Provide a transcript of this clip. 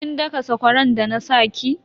Kin daka sakwaran da na sa ki?